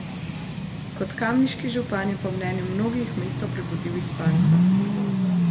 Kot kamniški župan je po mnenju mnogih mesto prebudil iz spanca.